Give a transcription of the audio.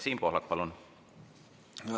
Siim Pohlak, palun!